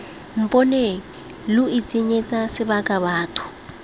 mponeng lo itshenyetsa sebaka batho